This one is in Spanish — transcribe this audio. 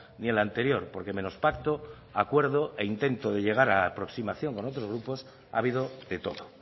ni el anterior porque menos pacto acuerdo e intento de llegar aproximación con otros grupos ha habido de todo